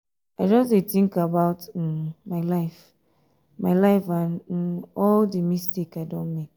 i just dey think about um my life my life and um all the mistake i don um make